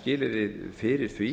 skilyrði fyrir því